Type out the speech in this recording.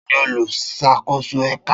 Ta ni oluṣakoso ẹka?